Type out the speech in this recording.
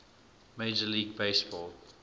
major league baseball